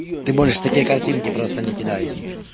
ты больше такие картинки просто не кидай